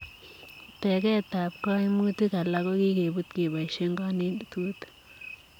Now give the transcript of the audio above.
Tegeet ap kaimutik alaak ko kikepuut kepaishee kanetutiik ak